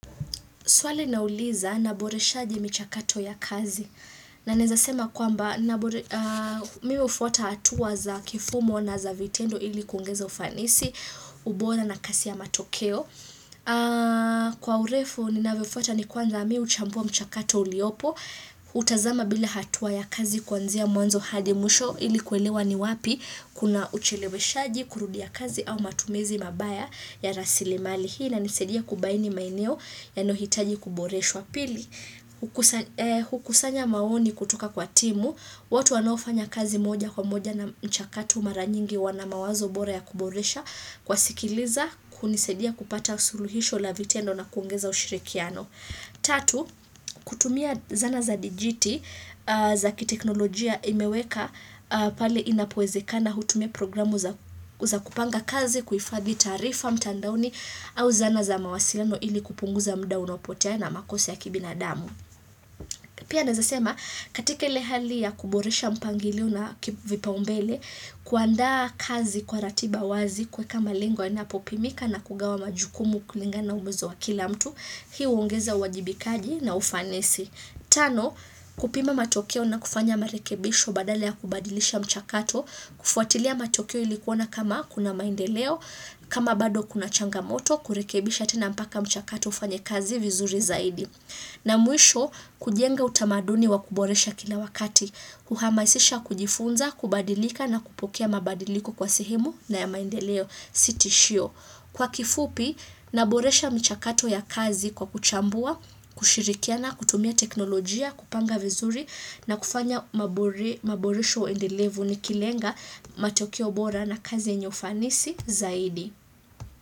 Swali nauliza naboresha aje michakato ya kazi. Na nawezasema kwamba mimi hufuata hatua za kifumo na za vitendo ili kungeza ufanisi, ubora na kasi ya matokeo. Kwa urefu ninavyofuata ni kwanza mimi huchambua mchakato uliopo, kutazama bila hatuwa ya kazi kwanzia mwanzo hadi mwisho ili kuelewa ni wapi kuna uchelewe shaji, kurudia kazi au matumizi mabaya ya rasili mali. Hii inanisaidia kubaini maeneo yanayohitaji kuboreshwa. Wapili, hukusanya maoni kutoka kwa timu. Watu wanofanya kazi moja kwa moja na mchakato mara nyingi wanamawazo bora ya kuboresha. Kuwasikiliza, kunisaidia kupata suluhisho la vitendo na kuongeza ushirikiano. Tatu, kutumia zana za dijiti za kiteknolojia imeweka pale inapowezeka hutumia programu za kupanga kazi, kuifadhi tarifa mtandaoni au zana za mawasiliano ili kupunguza mda unopotea na makosa ya kibinadamu. Pia nawezasema, katika ile hali ya kuboresha mpangilo na vipaumbele, kuanda kazi kwa ratiba wazi kwa kama lengo inapopimika na kugawa majukumu kulinga na uwezo wa kila mtu, hii huongeza uwajibikaji na ufanisi. Tano, kupima matokeo na kufanya marekebisho badale ya kubadilisha mchakato, kufuatilia matokeo ilikuona kama kuna maindeleo, kama bado kuna changamoto, kurekebisha tena mpaka mchakato ufanya kazi vizuri zaidi. Na mwisho, kujenga utamaduni wa kuboresha kina wakati, kuhamasisha kujifunza, kubadilika na kupokea mabadiliko kwa sehemu na ya maendeleo si tishio. Kwa kifupi, naboresha michakato ya kazi kwa kuchambua, kushirikia na kutumia teknolojia, kupanga vizuri na kufanya maboresho endelevu ni kilenga matokeo bora na kazi yenye ufanisi zaidi.